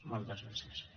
moltes gràcies